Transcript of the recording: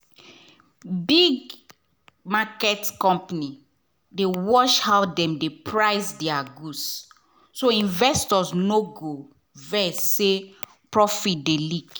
big market company dey watch how dem dey price their goods so investors no go vex say profit dey leak.